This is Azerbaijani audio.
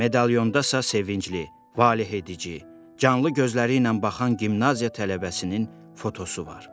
Medalyonda sevincli, valehedici, canlı gözləri ilə baxan gimnaziya tələbəsinin fotosu var.